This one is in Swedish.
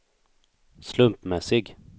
slumpmässig